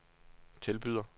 tilbyder